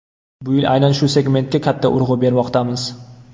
Bu yil aynan shu segmentga katta urg‘u bermoqdamiz.